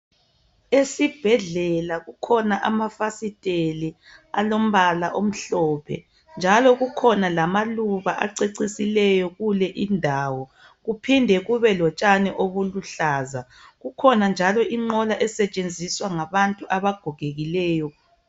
Esibhedlela kukhona amafasiteli alombala omhlophe njalo kukhona lamaluba aceciseleyo kule indawo kuphinde kube lotshani obuluhlaza. Kukhona njalo inqola esetshenziswa ngabantu abagogekileyo.